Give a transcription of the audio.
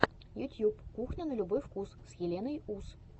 ютьюб кухня на любой вкус с еленой ус